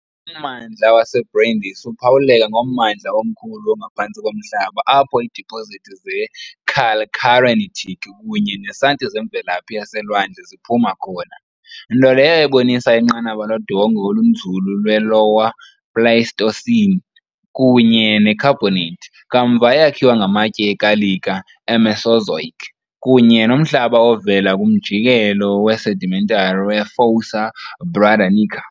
Ummandla waseBrindisi uphawuleka ngommandla omkhulu ongaphantsi komhlaba apho iidipozithi ze- calcarenitic kunye nesanti zemvelaphi yaselwandle ziphuma khona, nto leyo ebonisa inqanaba lodongwe olunzulu lwe- Lower Pleistocene, kunye ne -carbonate kamva eyakhiwe ngamatye ekalika e-Mesozoic kunye nomhlaba ovela kumjikelo we-sedimentary we-Fossa Bradanica.